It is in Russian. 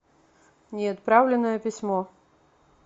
неотправленное письмо